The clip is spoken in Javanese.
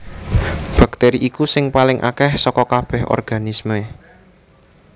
Baktèri iku sing paling akèh saka kabèh organisme